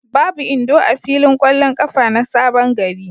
Babu Indo a filin ƙwallon ƙafa na Sabon gari.